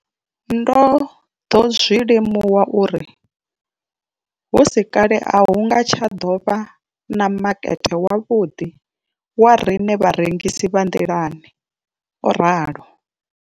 Ndo ḓo zwi limuwa uri hu si kale a hu nga tsha ḓo vha na makete wavhuḓi wa riṋe vharengisi vha nḓilani, o ralo.